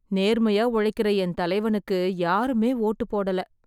நேர்மையா உழைக்கிற என் தலைவனுக்கு யாருமே வோட்டு போடல.